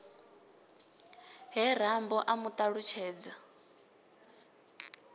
he rambo a mu ṱalutshedza